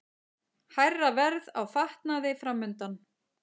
Hærra verð á fatnaði framundan